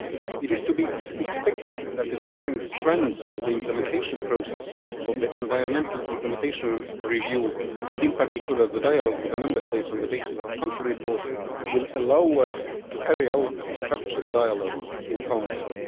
It is to be expected that the different strands of the implementation process of the environmental implementation review, and in particular the dialogue with the Member States on the basis of the country reports, will allow us to carry out a structured dialogue in Council.